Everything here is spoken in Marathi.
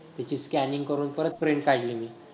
तिची scanning करून परत print काढली मी.